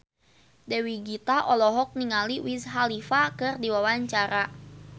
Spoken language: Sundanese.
Dewi Gita olohok ningali Wiz Khalifa keur diwawancara